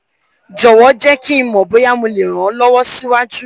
jọwọ jẹ ki n mọ boya mo le ran ọ lọwọ siwaju